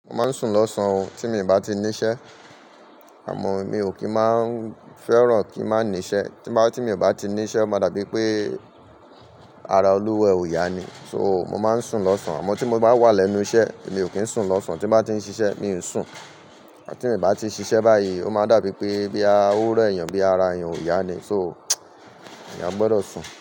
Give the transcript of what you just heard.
Mo máa ń sùn lọ́sàn-án tí mo bá ti níṣẹ́ àmọ́ mi ò kí máa ń fẹ́ràn kí má ńi íṣẹ́. Tí m bá, tí mo bá ti níṣẹ́, ó máa dàbí pé ara olúwọ ẹ ò ya ni. So, mo máa ń sùn lọ́sàn-án. Àmọ́ tí mo bá wà lẹ́nu iṣẹ́ mi ò kí ń sùn lọ́sàn-án. Tí m bá ti ń ṣiṣẹ́ mi ń sùn. Tí m bá ti ń ṣiṣẹ́ báyìí, ó máa ń dàbí pé bí a ó re èèyàn bí ara èyàn ò ya ni. So, èyàn gbọdọ̀ sùn.